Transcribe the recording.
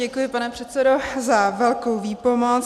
Děkuji, pane předsedo, za velkou výpomoc.